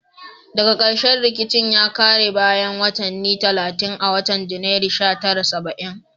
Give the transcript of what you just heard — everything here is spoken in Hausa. Daga karshe rikicin ya kare bayan watanni talatin a watan Janairu sha tara saba'in